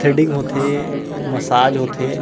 Threading होथे massage होथे।